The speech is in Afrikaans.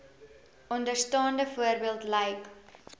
onderstaande voorbeeld lyk